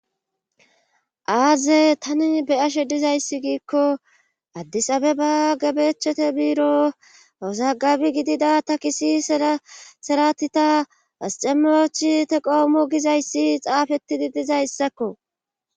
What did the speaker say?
aaze tani be7ashe dizayssi giikko addisabeba gabewochete biiro awuzagabi gidida takisi seratita asichemirochi teequamo gizayssi xaafetidi dizayssakko